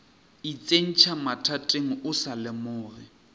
itsentšha mathateng o sa lemoge